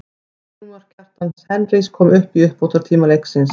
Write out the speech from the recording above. Sigurmark, Kjartans Henry kom í uppbótartíma leiksins.